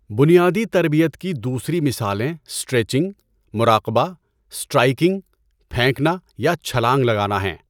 بنیادی تربیت کی دوسری مثالیں اسٹریچنگ، مراقبہ، اسٹرائکنگ، پھینکنا یا چھلانگ لگانا ہیں۔